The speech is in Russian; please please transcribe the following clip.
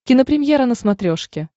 кинопремьера на смотрешке